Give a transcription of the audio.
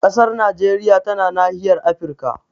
Ƙasar Najeriya tana nahiyar Afirka.